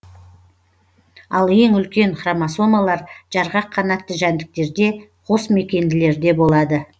ал ең үлкен хромосомалар жарғақ канатты жәндіктерде қосмекенділерде болады